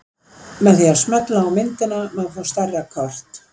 Með því að smella á myndina má fá stærra kort.